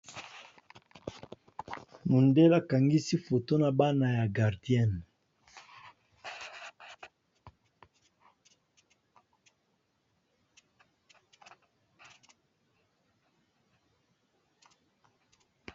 Mondele akangisi foto na bana ya gardien.